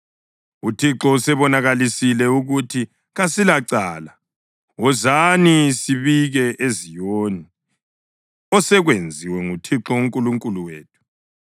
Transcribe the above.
UThixo usebonakalisile ukuthi kasilacala, wozani sibike eZiyoni osekwenziwe nguThixo uNkulunkulu wethu.’